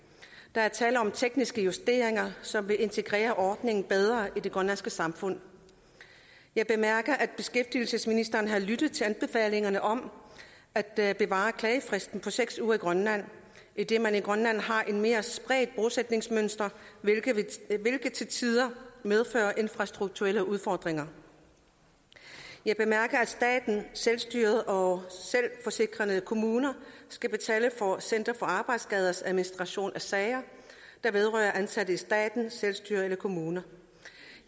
der er tale om tekniske justeringer som vil integrere ordningen bedre i det grønlandske samfund jeg bemærker at beskæftigelsesministeren har lyttet til anbefalingerne om at bevare klagefristen på seks uger i grønland idet man i grønland har et mere spredt bosætningsmønster hvilket til tider medfører infrastruktuelle udfordringer jeg bemærker at staten selvstyret og selvforsikrende kommuner skal betale for center for arbejdsskaders administration af sager der vedrører ansatte i staten selvstyret eller kommunerne